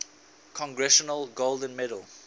congressional gold medal